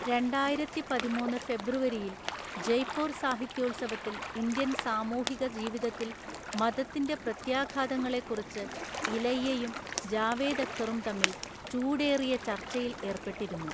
രണ്ടായിരത്തിപതിമൂന്നു ഫെബ്രുവരിയിൽ ജയ്പൂർ സാഹിത്യോത്സവത്തിൽ ഇന്ത്യൻ സാമൂഹിക ജീവിതത്തിൽ മതത്തിന്റെ പ്രത്യാഘാതങ്ങളെക്കുറിച്ച് ഇലയ്യയും ജാവേദ് അക്തറും തമ്മിൽ ചൂടേറിയ ചർച്ചയിൽ ഏർപ്പെട്ടിരുന്നു.